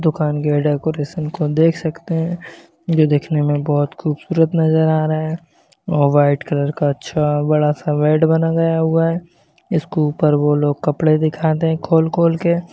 दुकान के ये डेकोरेशन को देख सकते है जो देखने में बहुत खूबसूरत नजर आ रहा है और व्हाइट कलर का अच्छा बड़ा-सा बेड बनवाये हुआ है इसके ऊपर वो लोग कपड़े दिखाते है खोल-खोल के।